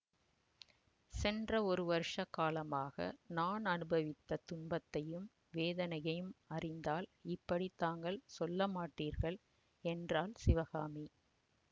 சென்ற ஒரு வருஷகாலமாக நான் அனுபவித்த துன்பத்தையும் வேதனையையும் அறிந்தால் இப்படி தாங்கள் சொல்லமாட்டீர்கள் என்றாள் சிவகாமி